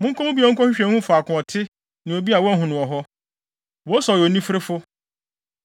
Monkɔ mu bio, nkɔhwehwɛ, nhu faako a ɔte ne obi a wahu no wɔ hɔ. Wose ɔyɛ onifirifo.